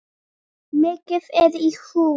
Mikið er í húfi.